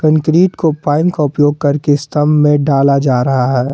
Concrete को pipe pipe का उपयोग करके स्तंभ में डाला जा रहा है।